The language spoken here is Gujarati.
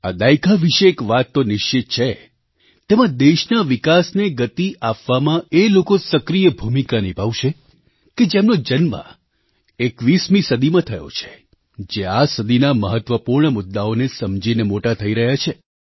આ દાયકા વિશે એક વાત તો નિશ્ચિત છે તેમાં દેશના વિકાસને ગતિ આપવામાં એ લોકો સક્રિય ભૂમિકા નિભાવશે કે જેમનો જન્મ 21મી સદીમાં થયો છે જે આ સદીના મહત્ત્વપૂર્ણ મુદ્દાઓને સમજીને મોટા થઈ રહ્યાં છે